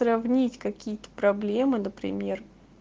сравнить какие-то проблемы например